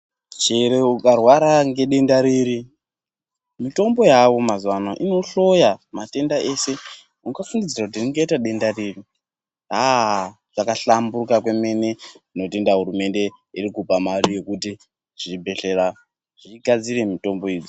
Chero ukarwara nedenda riri mitombo yaayo mazuwanaya inohloya matenda ese ungafungidzira ringaita denda riri. Zvabahlamburuka kwemene tinotenda hurumende irikupa mare kuti zvibhehlera zvigadzire mitombo idzi.